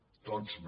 tots no